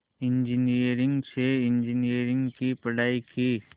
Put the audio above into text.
engineering से engineering की पढ़ाई की